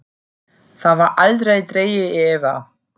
Það var aldrei dregið í efa.